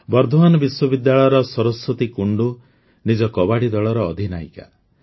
ବର୍ଦ୍ଦୱାନ ବିଶ୍ୱବିଦ୍ୟାଳୟର ସରସ୍ୱତୀ କୁଣ୍ଡୁ ନିଜ କବାଡ଼ି ଦଳର ଅଧିନାୟିକା